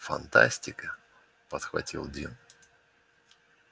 фантастика подхватил дин